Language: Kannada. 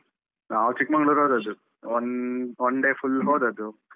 ನಾವು ಚಿಕ್ಮಂಗ್ಲೂರ್ ಹೋದದ್ದು. one one day full ಹೋದದ್ದು.